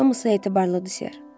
Hamısı etibarlıdır, Ser.